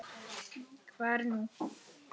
Hvað er nú?